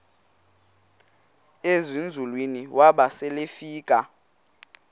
ezinzulwini waba selefika